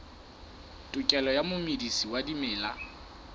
tokelo ya momedisi wa dimela